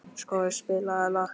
Skorri, spilaðu lag.